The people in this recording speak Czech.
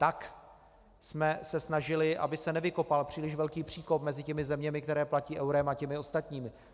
Tak jsme se snažili, aby se nevykopal příliš velký příkop mezi těmi zeměmi, které platí eurem, a těmi ostatními.